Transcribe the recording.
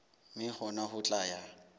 mme hona ho tla ya